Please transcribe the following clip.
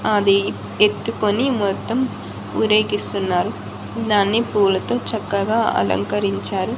అది ఎత్తుకొని మొత్తం ఊరేగిస్తున్నారు దాన్ని పూలతో చక్కగా అలంకరించారు.